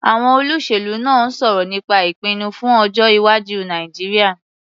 Àwọn olóṣèlú náà ń sọ̀rọ̀ nípa ìpinnu fún ọjọ́-iwájú Nàìjíríà.